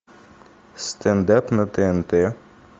стендап на тнт